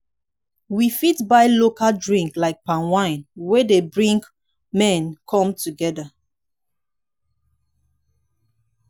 we fit buy local drink like palm wine wey dey bring men come together